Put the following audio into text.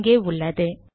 இங்கே உள்ளது